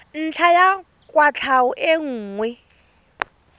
ntlha ya kwatlhao e nngwe